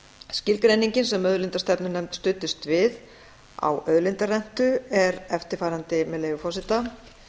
skilgreiningin sem auðlindastefnunefnd studdist við á auðlindarentu er eftirfarandi með leyfi forseta